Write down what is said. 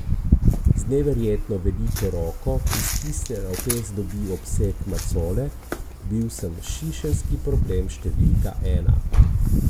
Z neverjetno veliko roko, ki stisnjena v pest dobi obseg macole: 'Bil sem šišenski problem številka ena.